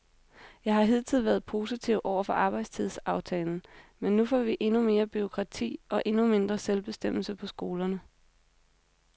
Jeg har hidtil været positiv over for arbejdstidsaftalen, men nu får vi endnu mere bureaukrati og endnu mindre selvbestemmelse på skolerne.